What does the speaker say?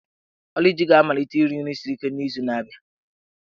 Oluchi ga-amalite iri nri siri ike n'izu na-abịa.